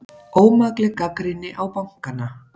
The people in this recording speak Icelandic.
Ómakleg gagnrýni á bankana